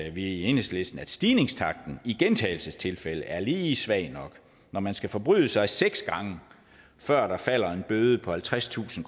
i enhedslisten at stigningstakten i gentagelsestilfælde er lige svag nok når man skal forbryde sig seks gange før der falder en bøde på halvtredstusind